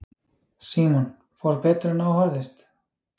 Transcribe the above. Símon: Fór betur en á horfðist?